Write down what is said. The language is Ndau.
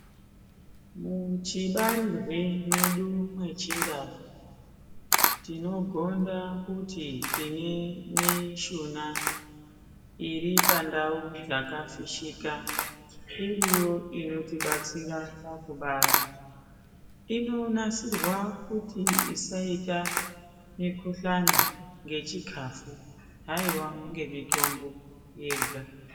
Muchibarirwe mwedu mwechindau, tinogonda kuti tine mishuna iri pandau dzakafishika, iriyo inotibatsira pakubara. Inonasirwa kuti isaita mikhuhlani ngechikhafu, haiwa ngemitombo yega.